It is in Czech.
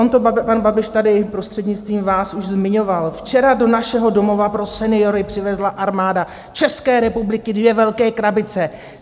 On to pan Babiš tady prostřednictvím vás už zmiňoval: Včera do našeho domova pro seniory přivezla Armáda České republiky dvě velké krabice.